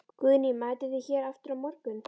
Guðný: Mætið þið hér aftur á morgun?